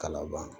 Kalaban